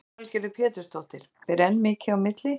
Lillý Valgerður Pétursdóttir: Ber enn mikið á milli?